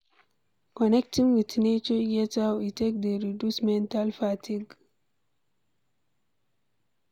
Connecting with nature get how e take dey reduce mental fatigue